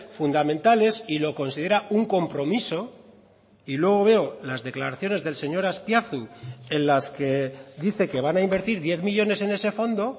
fundamentales y lo considera un compromiso y luego veo las declaraciones del señor azpiazu en las que dice que van a invertir diez millónes en ese fondo